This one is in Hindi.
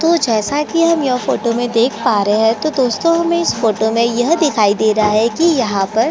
तो जैसा की हम यह फोटो में देख पा रहे है तो दोस्तों हमे यह फोटो में यह दिखाई दे रहा हैकी यहाँ पर--